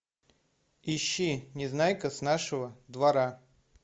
ищи незнайка с нашего двора